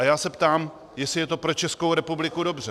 A já se ptám, jestli je to pro Českou republiku dobře.